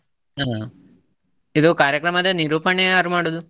ಹ, ಇದು ಕಾರ್ಯಕ್ರಮದ ನಿರೂಪಣೆ ಯಾರು ಮಾಡುದು?